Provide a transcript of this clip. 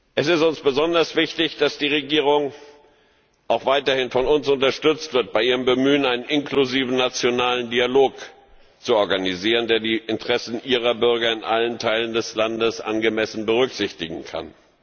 Es ist uns besonders wichtig, dass die Regierung auch weiterhin von uns unterstützt wird bei ihrem Bemühen, einen inklusiven nationalen Dialog zu organisieren, der die Interessen ihrer Bürger in allen Teilen des Landes angemessen berücksichtigen kann.